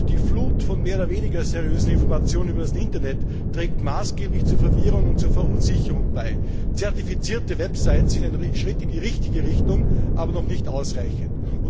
Auch die Flut von mehr oder weniger seriösen Informationen über das Internet trägt maßgeblich zur Verwirrung und Verunsicherung bei. Zertifizierte Websites sind ein Schritt in die richtige Richtung, aber noch nicht ausreichend.